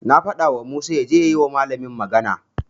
Na fadawa Musa yaje ya yi wa malamin magana.